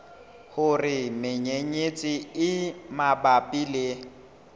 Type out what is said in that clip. hore menyenyetsi e mabapi le